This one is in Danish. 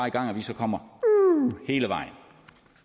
i gang at vi så kommer hele vejen